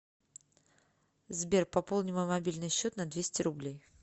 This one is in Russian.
сбер пополни мой мобильный счет на двести рублей